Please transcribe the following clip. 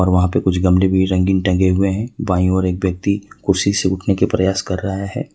वहां पे कुछ गमले भी रंगीन टंगे हुए है बाई ओर एक व्यक्ति कुर्सी से उठने के प्रयास कर रहा है।